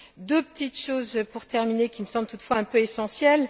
Deux petites choses pour terminer, qui me semblent toutefois un peu essentielles.